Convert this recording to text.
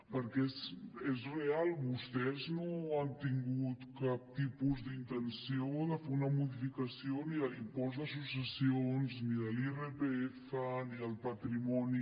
perquè és real vostès no han tingut cap tipus d’intenció de fer una modificació ni a l’impost de successions ni de l’irpf ni al patrimoni